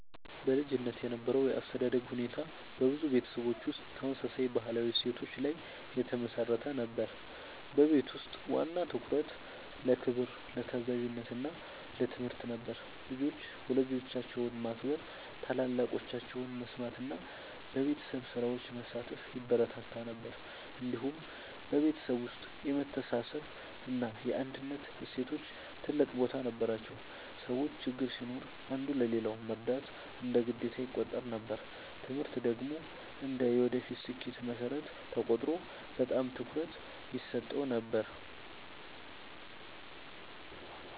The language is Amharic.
በልጅነት የነበረው የአስተዳደግ ሁኔታ በብዙ ቤተሰቦች ውስጥ ተመሳሳይ ባህላዊ እሴቶች ላይ የተመሠረተ ነበር። በቤት ውስጥ ዋና ትኩረት ለክብር፣ ለታዛዥነት እና ለትምህርት ነበር። ልጆች ወላጆቻቸውን ማክበር፣ ታላላቆቻቸውን መስማት እና በቤተሰብ ስራዎች መሳተፍ ይበረታታ ነበር። እንዲሁም በቤተሰብ ውስጥ የመተሳሰብ እና የአንድነት እሴቶች ትልቅ ቦታ ነበራቸው። ሰዎች ችግር ሲኖር አንዱ ለሌላው መርዳት እንደ ግዴታ ይቆጠር ነበር። ትምህርት ደግሞ እንደ የወደፊት ስኬት መሠረት ተቆጥሮ በጣም ትኩረት ይሰጠው ነበር።